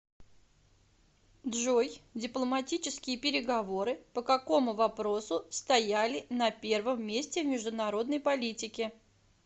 джой дипломатические переговоры по какому вопросу стояли на первом месте в международной политике